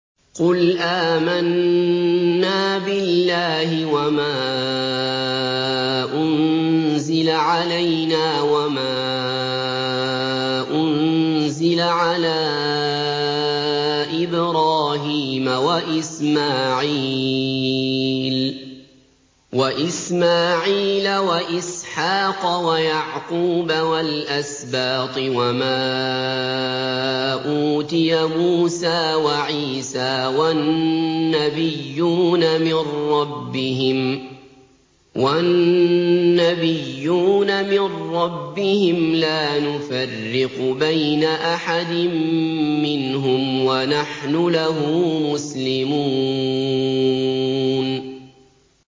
قُلْ آمَنَّا بِاللَّهِ وَمَا أُنزِلَ عَلَيْنَا وَمَا أُنزِلَ عَلَىٰ إِبْرَاهِيمَ وَإِسْمَاعِيلَ وَإِسْحَاقَ وَيَعْقُوبَ وَالْأَسْبَاطِ وَمَا أُوتِيَ مُوسَىٰ وَعِيسَىٰ وَالنَّبِيُّونَ مِن رَّبِّهِمْ لَا نُفَرِّقُ بَيْنَ أَحَدٍ مِّنْهُمْ وَنَحْنُ لَهُ مُسْلِمُونَ